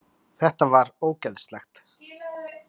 Þetta var ógeðslegt!